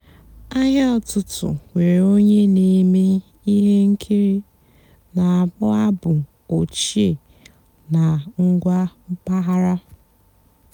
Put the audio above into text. àhị́á ụ́tụtụ́ nwèré ónyé nà-èmée íhé ǹkìrí nà-àkpọ́ àbụ́ òchíé nà ǹgwá m̀pàghàrà.